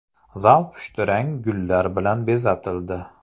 Zal pushtirang gullar bilan bezatildi.